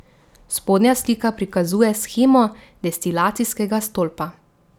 Spodnja slika prikazuje shemo destilacijskega stolpa.